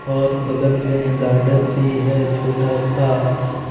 और बगल में गार्डन भी है छोटा सा।